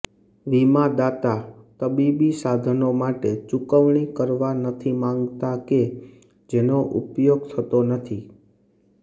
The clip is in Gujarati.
વીમાદાતા તબીબી સાધનો માટે ચૂકવણી કરવા નથી માગતા કે જેનો ઉપયોગ થતો નથી